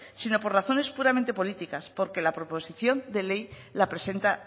sino por razones puramente políticas porque la proposición de ley la presenta